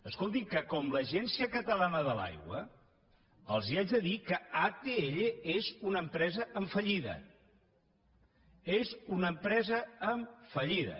escolti que com l’agència catalana de l’aigua els he de dir que atll és una empresa en fallida és una empresa en fallida